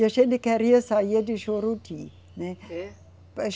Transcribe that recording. E a gente queria sair de Juruti, né? É?